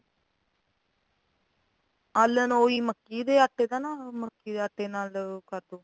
ਆਲਨ ਉਹ ਹੀ ਮੱਕੀ ਦੇ ਆਟੇ ਦਾ ਨਾ ਮੱਕੀ ਦੇ ਆਟੇ ਨਾਲ ਓ ਕਰਦੋ